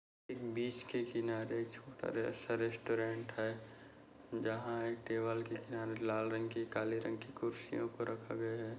बीच के किनारे छोटा रेस-सा रेस्टोरेंट है जहा एक दीवार के किनारे लाल रंग की काले रंग की कुर्सियों को रखा गया है।